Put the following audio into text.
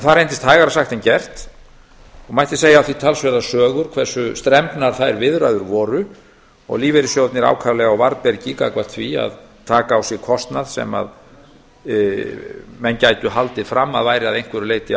það reyndist hægara sagt en gert og mætti segja af því talsverðar sögur hversu strembnar þær viðræður voru og lífeyrissjóðirnir ákaflega á varðbergi gagnvart því að taka á sig kostnað sem menn gætu haldið fram að væri að einhverju leyti